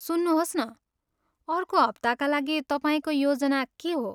सुन्नुहोस् न, अर्को हप्ताका लागि तपाईँको योजना के हो?